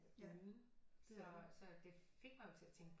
Uden så det fik mig jo til at tænke på